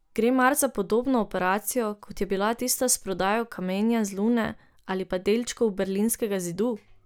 Gre mar za podobno operacijo, kot je bila tista s prodajo kamenja z Lune ali pa delčkov berlinskega zidu?